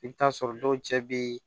I bɛ t'a sɔrɔ dɔw cɛ bɛ